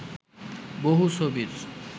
বহু ছবির